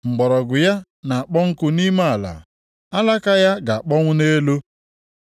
Mgbọrọgwụ ya na-akpọ nkụ nʼime ala, alaka ya ga-akpọnwụ nʼelu.